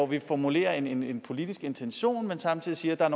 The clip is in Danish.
vi formulerer en en politisk intention men samtidig siger at